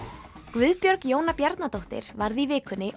Guðbjörg Jóna Bjarnadóttir varð í vikunni